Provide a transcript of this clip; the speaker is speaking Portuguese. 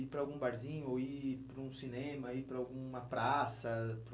ir para algum barzinho, ou ir para um cinema, ir para alguma praça?